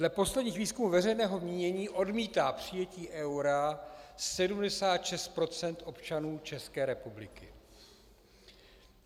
Dle posledních výzkumů veřejného mínění odmítá přijetí eura 76 % občanů České republiky.